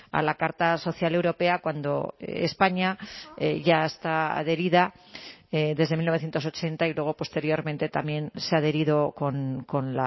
a la carta social europea cuando españa ya está adherida desde mil novecientos ochenta y luego posteriormente también se ha adherido con